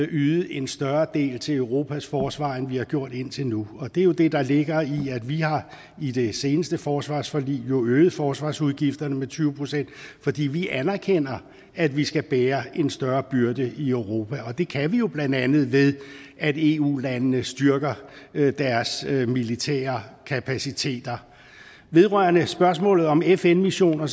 yde en større del til europas forsvar end vi har gjort indtil nu det er jo det der ligger i at vi i det seneste forsvarsforlig har øget forsvarsudgifterne med tyve pct fordi vi anerkender at vi skal bære en større byrde i europa det kan vi jo blandt andet ved at eu landene styrker deres militære kapaciteter vedrørende spørgsmålet om fn missioner